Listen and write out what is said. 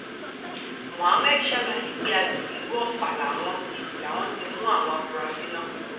mohammed ṣàlàyé pé àgbègbè ìlú ọfà làwọn ti làwọn ti mú àwọn afurasí náà